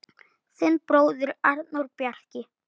Þinn bróðir, Arnór Bjarki.